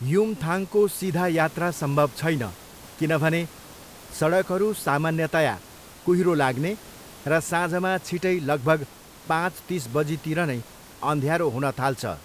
युमथाङको सिधा यात्रा सम्भव छैन किनभने सडकहरू सामान्यतया कुहिरो लाग्ने र साँझमा छिटै लगभग पाँच तिस बजीतिर नै अँध्यारो हुनथाल्छ।